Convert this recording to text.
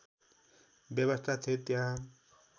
व्यवस्था थियो त्यहाँ